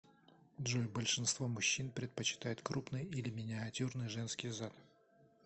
джой большинство мужчин предпочитает крупный или миниатюрный женский зад